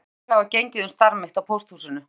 Margar sögur hafa gengið um starf mitt á pósthúsinu.